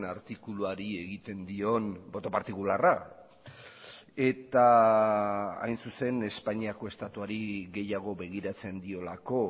artikuluari egiten dion boto partikularra eta hain zuzen espainiako estatuari gehiago begiratzen diolako